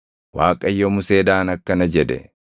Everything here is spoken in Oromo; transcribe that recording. Waaqayyo Museedhaan akkana jedhe;